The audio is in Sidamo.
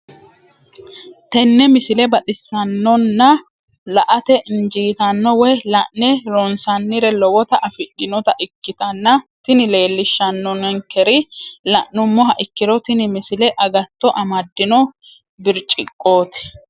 tenne misile baxisannonna la"ate injiitanno woy la'ne ronsannire lowote afidhinota ikkitanna tini leellishshannonkeri la'nummoha ikkiro tini misile agatto amaddino birciqqooti.